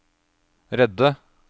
redde